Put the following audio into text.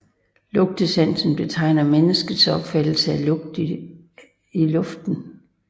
Lugtesansen betegner menneskets opfangelse af lugt i luften